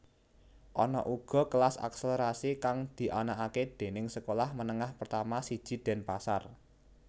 Ana uga kelas akselerasi kang dianakake déning sekolah menengah pertama siji Denpasar